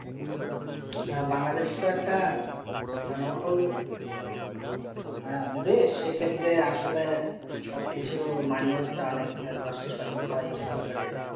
হ্যাঁ বাংলাদেশ তো একটা জনবহুল আঃ দেশ সেক্ষেত্রে আসলে সব কিছু মানি হতে অনেক কষ্টসাধ্য হয় সরকারের।